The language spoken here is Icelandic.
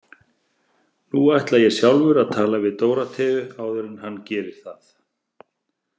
Nú ætla ég sjálfur að tala við Dóróteu áður en hann gerir það.